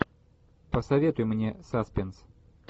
посоветуй мне саспенс